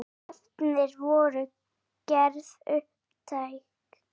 Efnin voru gerð upptæk.